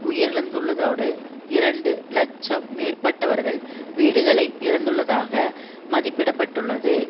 உயிரிழந்துள்ளதோடு இரண்டு இலட்சம் மேற்பட்டவர்கள் வீடுகளை இழந்துள்ளதாக மதிப்பிட பட்டுள்ளது